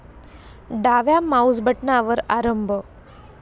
डाव्या माउस बटनावर आरंभ